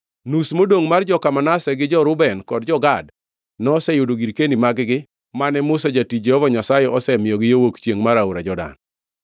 Nus modongʼ mar joka Manase, gi jo-Reuben kod jo-Gad noseyudo girkeni mag-gi mane Musa jatich Jehova Nyasaye osemiyogi yo wuok chiengʼ mar aora Jordan.